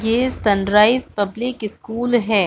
ये sunrise public school हैं।